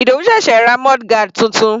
Ìdòwú sẹ̀sẹ̀ ra mudguard titun.